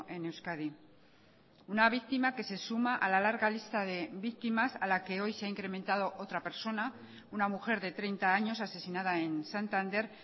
en euskadi una víctima que se suma a la larga lista de víctimas a la que hoy se ha incrementado otra persona una mujer de treinta años asesinada en santander